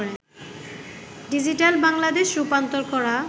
digital Bangladesh' রূপান্তর করা